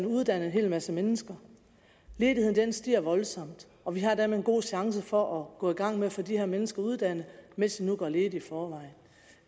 uddannet en hel masse mennesker ledigheden stiger voldsomt og vi har dermed en god chance for at gå i gang med at få de her mennesker uddannet mens de nu går ledige i forvejen